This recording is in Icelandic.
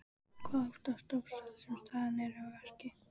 Hvað óttast dópsali sem staðinn er að verki?